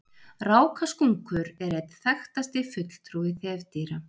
rákaskunkur er einn þekktasti fulltrúi þefdýra